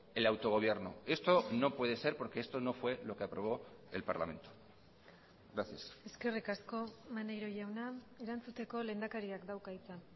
el autogobierno esto no puede ser porque esto no fue lo que aprobó el parlamento gracias eskerrik asko maneiro jauna erantzuteko lehendakariak dauka hitza